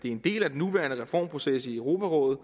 er en del af den nuværende reformproces i europarådet